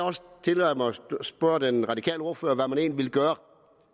tillader mig at spørge den radikale ordfører hvad man egentlig vil gøre